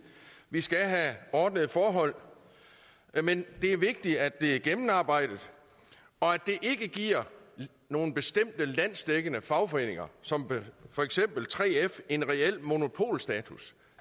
vi skal have ordnede forhold men det er vigtigt at det er gennemarbejdet og at det ikke giver nogle bestemte landsdækkende fagforeninger som for eksempel 3f en reel monopolstatus